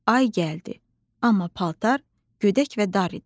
Ay gəldi, amma paltar gödək və dar idi.